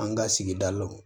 An ka sigida lo